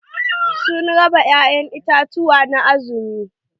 Sun raba ya'ƴan itatuwa na azumi.